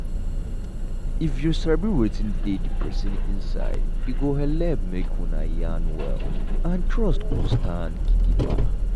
if you sabi wetin dey the person inside e go helep make una yarn well and trust go stand gidigba.